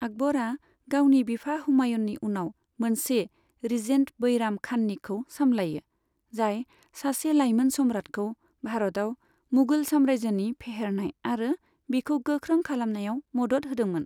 आकबरआ गावनि बिफा हुमायूननि उनाव मोनसे रिजेन्ट बैराम खाननिखौ सामलायो, जाय सासे लाइमोन सम्राटखौ भारतआव मुगल साम्रायजोनि फेहेरनाय आरो बिखौ गोख्रों खालामनायाव मदद होदोंमोन।